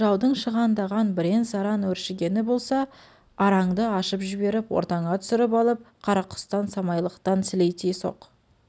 жаудың шығандаған бірен-саран өршігені болса араңды ашып жіберіп ортаңа түсіріп алып қарақұстан самайлықтан сілейте соқ